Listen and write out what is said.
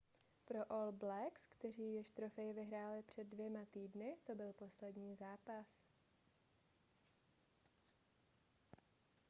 pro all blacks kteří již trofej vyhráli před dvěma týdny to byl poslední zápas